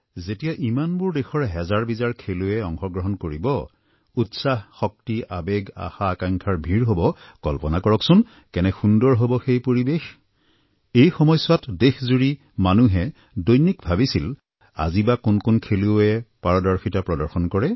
যেতিয়া ইমানবোৰ দেশৰ হেজাৰবিজাৰ খেলুৱৈয়ে অংশগ্ৰহণ কৰিব উৎসাহ শক্তি আবেগ আশাআকাংক্ষাৰ ভিৰ হব কল্পনা কৰকচোন কেনে সুন্দৰ হব সেই পৰিবেশ এই সময়ছোৱাত দেশজুৰি মানুহে দৈনিক ভাবিছিল আজি বা কোন কোন খেলুৱৈয়ে পাৰদৰ্শিতা প্ৰদৰ্শন কৰে